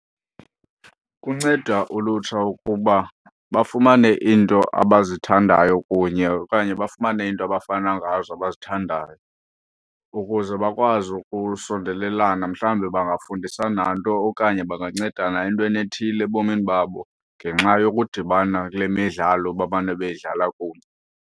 Kunceda ulutsha ukuba bafumane iinto abazithandayo kunye okanye bafumane iinto abafana ngazo abazithandayo ukuze bakwazi ukusondelelana. Mhlawumbi bangafundisana nto okanye bangancedana entweni ethile ebomini babo ngenxa yokudibana kule midlalo bamane beyidlala kunye.